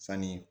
Sanni